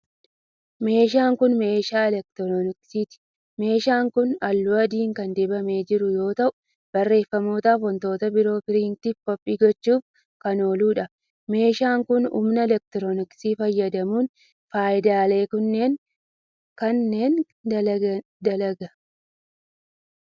Meeshaan kun, meeshaa elektirooniksiiti. Meeshaan kun, haalluu adii kan dibamee jiru yoo ta'u, barreeffamoota fi wantoota biroo piriintii fi koppii gochuuf kan oolu dha. Meeshaan kun, humna elektirikaa fayyadamuun faayidaalee kennu kanneen dalaga.